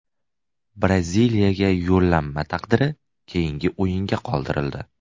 Braziliyaga yo‘llanma taqdiri keyingi o‘yinga qoldirildi.